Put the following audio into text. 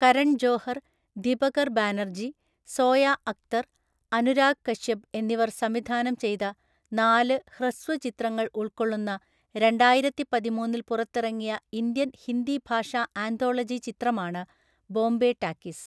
കരൺ ജോഹർ, ദിബകർ ബാനർജി, സോയ അക്തർ, അനുരാഗ് കശ്യപ് എന്നിവർ സംവിധാനം ചെയ്ത നാല് ഹ്രസ്വ ചിത്രങ്ങൾ ഉൾക്കൊള്ളുന്ന രണ്ടായിരത്തിപതിമൂന്നില്‍ പുറത്തിറങ്ങിയ ഇന്ത്യൻ ഹിന്ദി ഭാഷാ ആന്തോളജി ചിത്രമാണ് ബോംബെ ടാക്കീസ്.